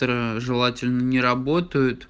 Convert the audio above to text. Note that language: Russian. желательно не работает